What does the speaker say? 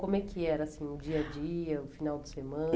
Como é que era assim o dia a dia, o final de